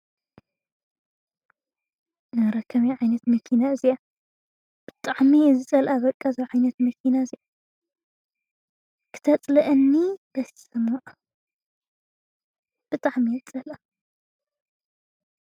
ኣረ ከመይ ዓይነት መኪና እያ እዚኣ! ብጣዕሚ እየ ዝፀልአ በቃ እዛ ዓይነት መኪና እዚኣ። ክተፅልኣኒ በስም ኣብ። ብጣዕሚ እየ ዝፀልኣ።